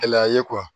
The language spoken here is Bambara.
Gɛlɛya ye